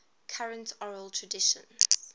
current oral traditions